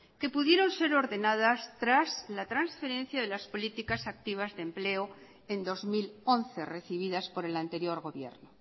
que pudieron ser ordenadas tras las transferencias de las políticas activas de empleo en dos mil once recibidas por el anterior gobierno